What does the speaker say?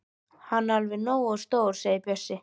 Hann er alveg nógu stór segir Bjössi.